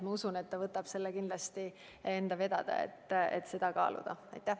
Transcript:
Ma usun, et ta võtab selle kindlasti enda vedada ja et seda kaalutakse.